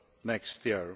next year.